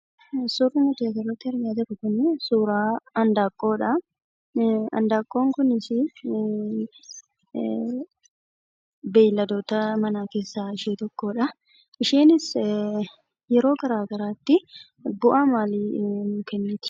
suuraan nuti asirratti argaa jirru kunii suuraa handaaqqoodhaa , handaaqqoon kunii beelladoota manaa keessaa ishee tokkodhaa, isheenis yeroo garagaraattii bu'aa maalii nuuf kenniti?